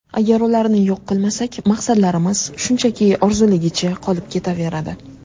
Agar ularni yo‘q qilmasak, maqsadlarimiz shunchaki orzuligicha qolib ketaveradi.